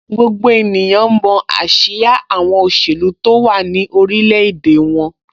Gbogbo ènìyàn mọ ásíá àwọn òṣèlú tó wà ní orilẹ̀-èdè wọn.